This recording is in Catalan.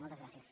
moltes gràcies